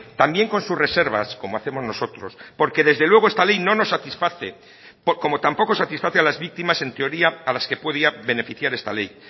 también con sus reservas como hacemos nosotros porque desde luego esta ley no nos satisface como tampoco satisface a las víctimas en teoría a las que podía beneficiar esta ley